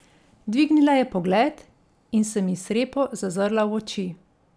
Dvignila je pogled in se mi srepo zazrla v oči.